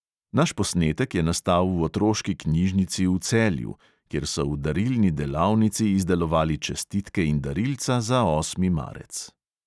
Naš posnetek je nastal v otroški knjižnici v celju, kjer so v darilni delavnici izdelovali čestitke in darilca za osmi marec.